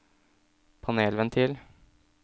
panelventil